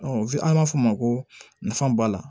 an b'a fɔ o ma ko nafa b'a la